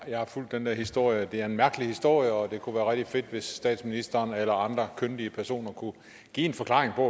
jeg har fulgt den der historie det er en mærkelig historie og det kunne være rigtig fedt hvis statsministeren eller andre kyndige personer kunne give en forklaring på